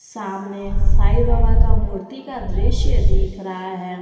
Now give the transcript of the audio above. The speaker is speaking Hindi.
सामने साईं बाबा का मूर्ति का दृश्य दिख रहा है।